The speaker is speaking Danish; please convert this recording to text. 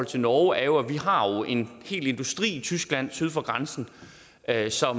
til norge er jo at vi har en hel industri i tyskland syd for grænsen altså